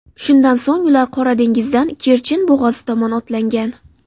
Shundan so‘ng ular Qora dengizdan Kerchen bo‘g‘ozi tomon otlangan.